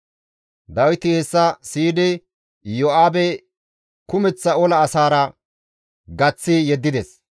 Dawiti hessa siyidi Iyo7aabe kumeththa ola asaara gaththi yeddides.